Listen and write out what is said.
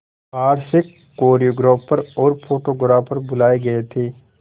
बाहर से कोरियोग्राफर और फोटोग्राफर बुलाए गए थे